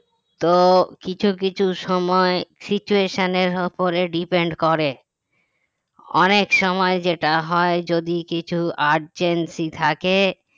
তো কিছু কিছু সময় situation এর ওপর depend করে অনেক সময় যেটা হয় যদি কিছু urgency থাকে